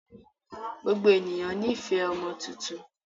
Gbogbo ènìyàn ní fẹ̀ ọmọ tuntun